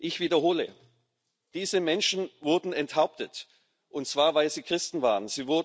Ich wiederhole Diese Menschen wurden enthauptet, und zwar, weil sie Christen waren.